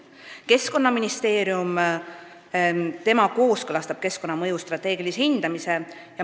Keskkonnaministeerium kooskõlastab keskkonnamõju strateegilise hindamise.